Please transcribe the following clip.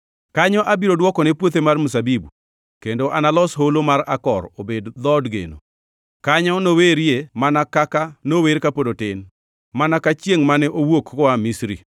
Kanyo abiro dwokone puothe mar mzabibu, Kendo analos holo mar Akor obed dhood geno. Kanyo nowerie mana kaka nower kapod otin, mana ka chiengʼ mane owuok koa Misri.”